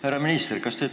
Härra minister!